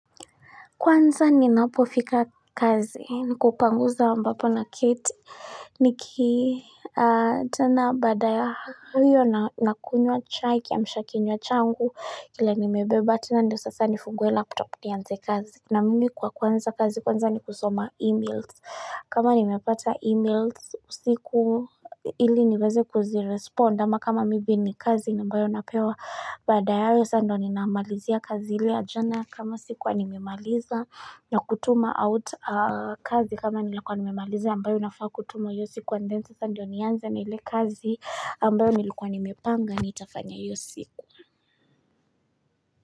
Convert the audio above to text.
Kwanza ninapofika kazini, nikupangusa ambapo na keti, niki aaa tena badaa ya huyo na na kunywa chai kiamsha kinywa changu, kile nimebeba tena ndio sasa nifungwe laptop ni anze kazi. Na mimi kwa kuanza kazi kwanza ni kusoma e-mails kama nimepata e-mails usiku ili niweze kuzirespond ama kama maybe ni kazi ambayo napewa baada ya ayo sa ndo ninamalizia kazi ile ya jana kama sikuwa nimemaliza na kutuma out aaa kazi kama nilikuwa nimemaliza ambayo inafaa kutuma hiyo siku and then sasa ndiyo nianze na ile kazi ambayo nilikuwa nimepanga nitafanya hiyo siku.